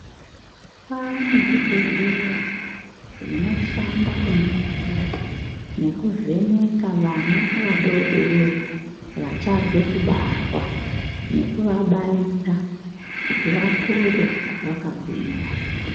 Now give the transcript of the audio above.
Kwaane zvibhedhlera zvinoshanda kuningira nekuvheneka vana vadodori vachabve kubarwa nekuvabaira kuti vakure vakagwinya.